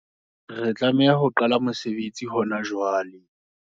Re tlameha ho qala mosebetsi hona jwale.